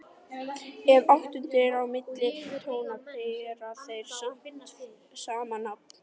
Ef áttund er á milli tóna bera þeir sama nafn.